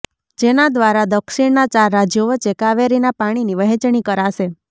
જેના દ્વારા દક્ષિણના ચાર રાજ્યો વચ્ચે કાવેરીના પાણીની વહેંચણી કરાશે